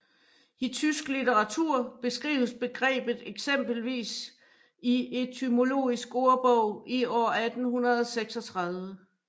I tysk litteratur beskrives begrebet eksempelvis i etymologisk ordbog i år 1836